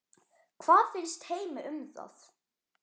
Hvað finnst Heimi um það?